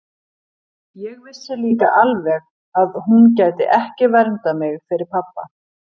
Ég vissi líka alveg að hún gæti ekki verndað mig fyrir pabba.